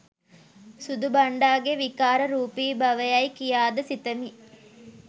සුදු බන්ඩාගේ විකාර රූපීබව යැයි කියාද සිතමි.